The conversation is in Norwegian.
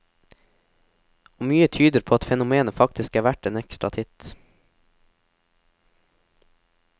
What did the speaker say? Og mye tyder på at fenomenet faktisk er verdt en ekstra titt.